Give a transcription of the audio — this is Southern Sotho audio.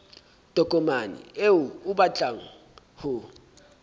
tokomane eo o batlang ho